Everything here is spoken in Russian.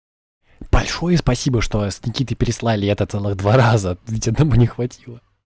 большое спасибо что с никитой переслали это целых два раза ведь одного не хватило